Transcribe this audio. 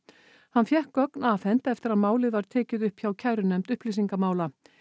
hann fékk gögn afhent eftir að málið var tekið upp hjá kærunefnd upplýsingamála